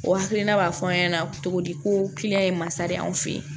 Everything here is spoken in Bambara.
O hakilina b'a fɔ an ɲɛna cogo di ko kiliyan ye masa de anw fe ye